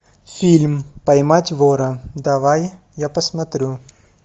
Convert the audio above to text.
фильм поймать вора давай я посмотрю